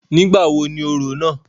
Nígbà wo ni orò náà?